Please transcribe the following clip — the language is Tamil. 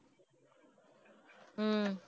ஹம்